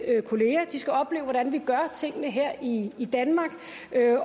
kollegaer de skal opleve hvordan vi gør tingene her i danmark